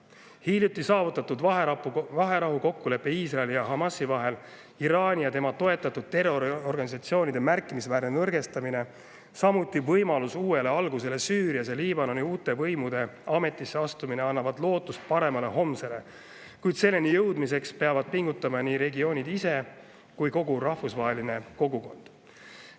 Hiljuti saavutatud vaherahukokkulepe Iisraeli ja Hamasi vahel, Iraani ja tema toetatud terroriorganisatsioonide märkimisväärne nõrgestamine, uue alguse võimalus Süürias ning Liibanoni uute võimude ametisse astumine annavad lootust paremale homsele, kuid selleni jõudmiseks peavad pingutama nii regioonid ise kui ka kogu rahvusvaheline kogukond.